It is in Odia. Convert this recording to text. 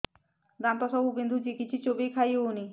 ଦାନ୍ତ ସବୁ ବିନ୍ଧୁଛି କିଛି ଚୋବେଇ ଖାଇ ହଉନି